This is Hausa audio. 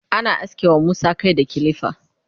ana aske wa Musa Kai da kilifa